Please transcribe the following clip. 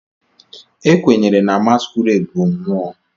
Ekwenyere na Masquerades bụ mmụọ.